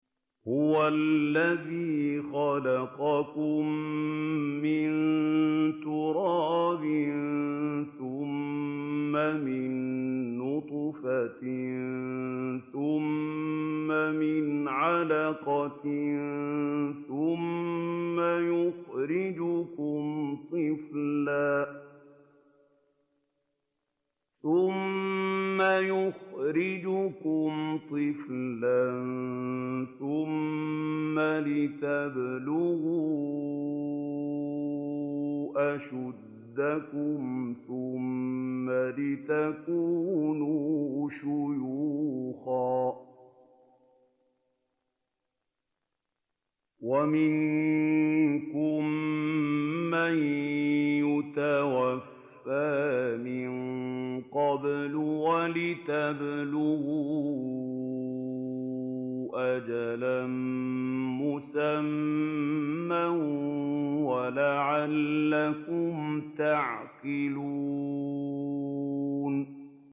هُوَ الَّذِي خَلَقَكُم مِّن تُرَابٍ ثُمَّ مِن نُّطْفَةٍ ثُمَّ مِنْ عَلَقَةٍ ثُمَّ يُخْرِجُكُمْ طِفْلًا ثُمَّ لِتَبْلُغُوا أَشُدَّكُمْ ثُمَّ لِتَكُونُوا شُيُوخًا ۚ وَمِنكُم مَّن يُتَوَفَّىٰ مِن قَبْلُ ۖ وَلِتَبْلُغُوا أَجَلًا مُّسَمًّى وَلَعَلَّكُمْ تَعْقِلُونَ